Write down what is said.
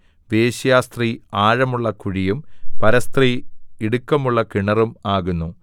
വേശ്യാസ്ത്രീ ആഴമുള്ള കുഴിയും പരസ്ത്രീ ഇടുക്കമുള്ള കിണറും ആകുന്നു